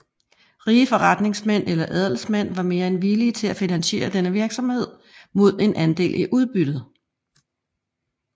Rige forretningsmænd eller adelsmænd var mere end villige til at finansiere denne virksomhed mod en andel i udbyttet